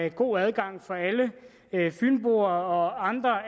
en god adgang for alle fynboer og andre